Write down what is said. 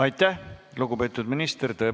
Aitäh, lugupeetud minister!